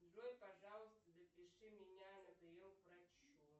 джой пожалуйста запиши меня на прием к врачу